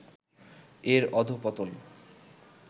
এর অধঃপতন